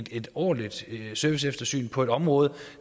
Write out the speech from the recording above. et ordentligt serviceeftersyn på et område